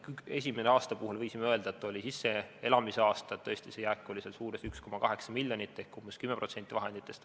Esimese aasta kohta võisime öelda, et oli sisseelamise aasta, jääk oli suuruses 1,8 miljonit ehk umbes 10% vahenditest.